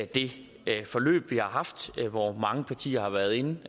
det forløb vi har haft hvor mange partier har været inde